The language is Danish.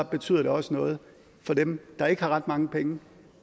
betyder det også noget for dem der ikke har ret mange penge